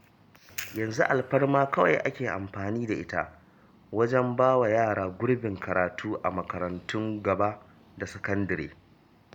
Yanzu alfarma kawai ake amfani da ita wajen ba wa yara gurbin karatu a makarantun gaba da sakandire